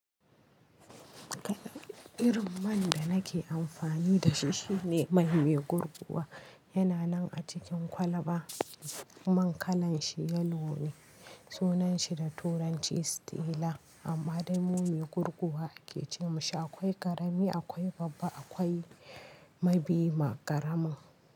Kalan irin man da nake amfani da shi shine mai mai gurguwa. Yana nan a cikin kwalba. Man kalan shi yellow ne Sunan shi da turanci Stella. Amma dai mu mai gurguwa ake ce masa. Akwai ƙarami, akwai babba, akwai mabi ma ƙaramin.